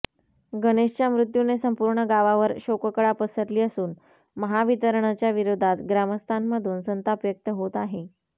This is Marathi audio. गणेशच्या मृत्यूने संपूर्ण गावावर शोककळा पसरली असून महावितरणच्या विरोधात ग्रामस्थांमधून संताप व्यक्त होत आहे